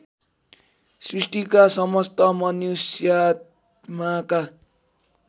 सृष्टिका समस्त मनुष्यात्माका